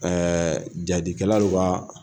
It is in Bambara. jaadikɛla dɔ ka.